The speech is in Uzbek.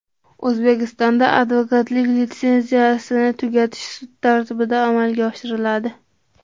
O‘zbekistonda advokatlik litsenziyasini tugatish sud tartibida amalga oshiriladi.